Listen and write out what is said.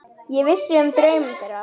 Ég vissi um draum þeirra.